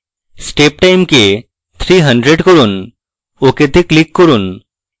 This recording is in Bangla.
step time keep 300 রাখুন ok তে click করুন